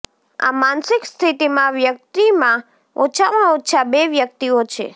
આ માનસિક સ્થિતિમાં વ્યક્તિમાં ઓછામાં ઓછા બે વ્યક્તિઓ છે